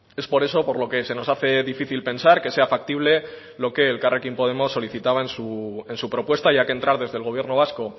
es por eso por lo que se nos hace difícil pensar que sea factible lo que elkarrekin podemos solicitaba en su propuesta ya que entrar desde el gobierno vasco